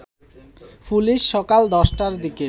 police সকাল ১০টার দিকে